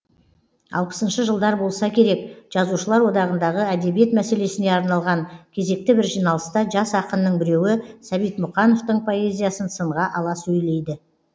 алпысыншы жылдар болса керек жазушылар одағындағы әдебиет мәселесіне арналған кезекті бір жиналыста жас ақынның біреуі сәбит мұқановтың поэзиясын сынға ала сөйлейді